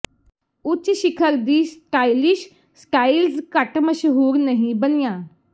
ਉੱਚ ਸਿਖਰ ਦੀ ਸਟਾਈਲਿਸ਼ ਸਟਾਈਲਜ਼ ਘੱਟ ਮਸ਼ਹੂਰ ਨਹੀਂ ਬਣੀਆਂ